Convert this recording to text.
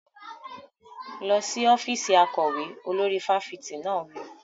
Lọ sí ọ́fíìsì akọ̀wé! Olórí fáfitì náà wí.